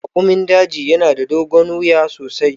Raƙumin daji yana da dogon wuya sosai.